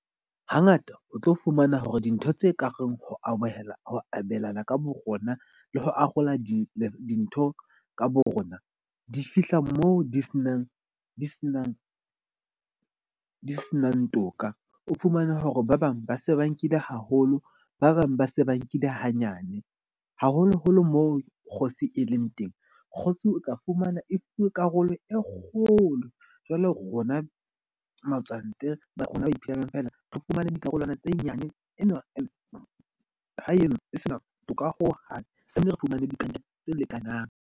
Hangata o tlo fumana hore dintho tse ka reng ho amohela ho abelana ka bo rona le ho arola di dintho ka borona, di fihla moo di senang toka. O fumane hore ba bang ba se ba nkile haholo, ba bang ba se ba nkile hanyane. Haholoholo moo kgosi e leng teng, kgotsi o tla fumana e fuwe karolo e kgolo. Jwale rona matswantle ba rona ba iphelelang feela. Re fumane dikarolwana tse nyane tse lekanang.